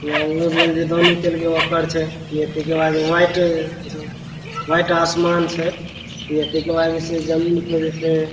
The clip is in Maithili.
इ अगलो बगल जे दोनी करलके ओकरे छीये व्यक्ति के पास व्हाइट व्हाइट आसमान छै व्यक्ति के पास जमीन ।